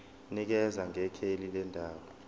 nikeza ngekheli lendawo